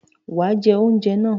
Wàá jẹ oúnjẹ náà